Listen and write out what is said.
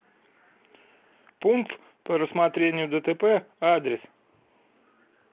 пункт по рассмотрению дтп адрес